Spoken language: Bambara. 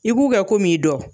I b'u kɛ kom'i dɔ.